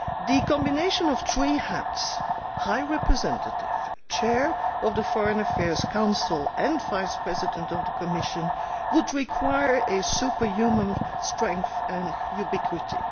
The combination of three hats High Representative, Chair of the Foreign Affairs Council and Vice President of the Commission, would require superhuman strength and ubiquity.